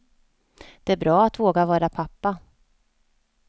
Det är bra att våga vara pappa.